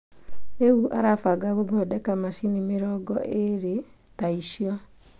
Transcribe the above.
Rĩu arabanga gũthondeka macini mĩrongo eerĩ ta icio.